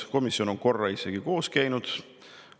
Komisjon on korra isegi koos käinud.